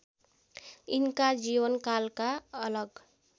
यिनका जीवनकालका अलग